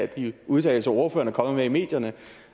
de udtalelser ordføreren er kommet med i medierne